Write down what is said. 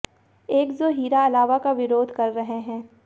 एक जो हिरा अलावा का विरोध कर रहे हैं